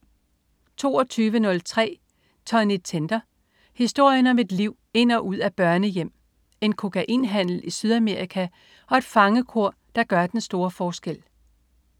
22.03 Tonny Tender. Historien om et liv ind og ud af børnehjem, en kokainhandel i Sydamerika og et fangekor, der gør den store forskel